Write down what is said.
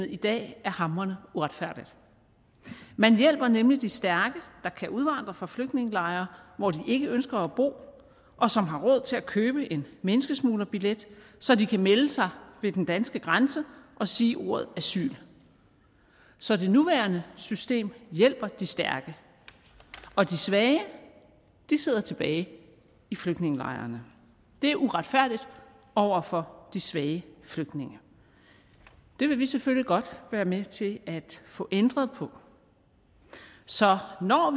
i dag er hamrende uretfærdigt man hjælper nemlig de stærke der kan udvandre fra flygtningelejre hvor de ikke ønsker at bo og som har råd til at købe en menneskesmuglerbillet så de kan melde sig ved den danske grænse og sige ordet asyl så det nuværende system hjælper de stærke og de svage sidder tilbage i flygtningelejrene det er uretfærdigt over for de svage flygtninge det vil vi selvfølgelig godt være med til at få ændret på så når